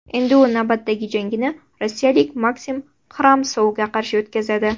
Endi u navbatdagi jangini rossiyalik Maksim Xramsovga qarshi o‘tkazadi.